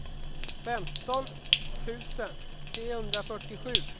femton tusen trehundrafyrtiosju